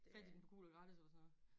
Fandt I den på GulogGratis eller sådan noget